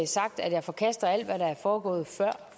sagt at jeg forkaster alt hvad der er foregået før